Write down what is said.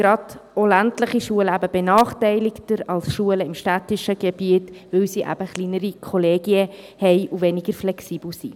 Gerade auch ländliche Schulen sind da benachteiligter als Schulen im städtischen Gebiet, weil sie kleinere Kollegien haben und weniger flexibel sind.